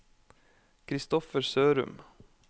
Kristoffer Sørum